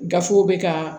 Gafew bɛ ka